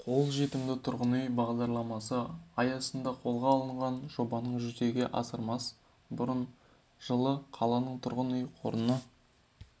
қолжетімді тұрғын үй бағдарламасы аясында қолға алынған жобаны жүзеге асырмас бұрын жылы қаланың тұрғын үй қорына